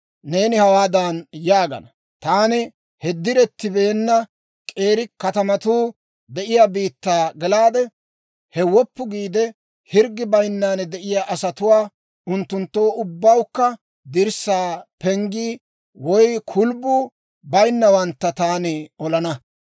Neeni hawaadan yaagana; ‹Taani he direttibeenna k'eeri katamatuu de'iyaa biittaa gelaade; he woppu giide, hirggi bayinnan de'iyaa asatuwaa, unttunttoo ubbawukka dirssaa, penggii woy kulubbuu bayinnawantta taani olana.